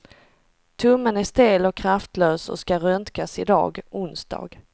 Tummen är stel och kraftlös och ska röntgas i dag, onsdag.